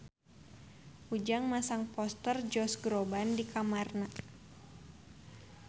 Ujang masang poster Josh Groban di kamarna